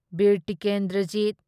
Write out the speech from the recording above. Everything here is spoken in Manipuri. ꯕꯤꯔ ꯇꯤꯀꯦꯟꯗ꯭ꯔꯖꯤꯠ